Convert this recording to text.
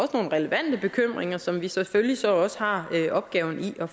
relevante bekymringer som vi selvfølgelig så har en opgave i at